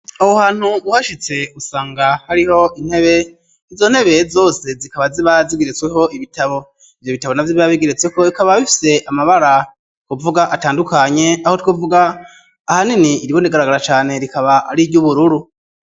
Aho hantu uhashitse usanga hariho intebe izontebeye zose zikaba ziba zigiretsweho ibitabo ivyo bitabo na vy'ibabigeretseko bikaba bifise amabara kuvuga atandukanye aho twuvuga ahanini iribundigaragara cane rikaba ari iryo ubururu.